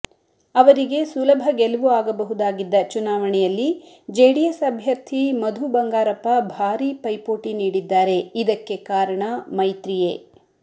ಅವರಿಗೆ ಸುಲಭ ಗೆಲುವು ಆಗಬಹುದಾಗಿದ್ದ ಚುನಾವಣೆಯಲ್ಲಿ ಜೆಡಿಎಸ್ ಅಭ್ಯರ್ಥಿ ಮಧು ಬಂಗಾರಪ್ಪ ಭಾರಿ ಪೈಪೋಟಿ ನೀಡಿದ್ದಾರೆ ಇದಕ್ಕೆ ಕಾರಣ ಮೈತ್ರಿಯೇ